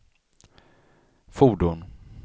fordon